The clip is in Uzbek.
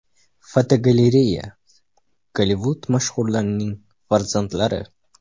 Fotogalereya: Gollivud mashhurlarning farzandlari.